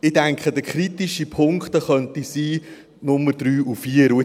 Ich denke, die kritischen Punkte könnten die Nummern 3 und 4 sein.